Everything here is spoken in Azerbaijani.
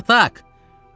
Spartak!